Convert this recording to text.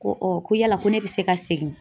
Ko ko yala ko ne bɛ se ka segin?